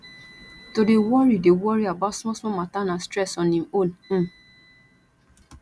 to dey worry dey worry about smallsmall mata na stress on im own um